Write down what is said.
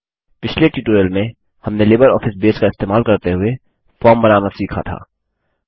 पिछले ट्यूटोरियल में हमने लिबरऑफिस बेस का इस्तेमाल करते हुए फॉर्म बनाना सीखा था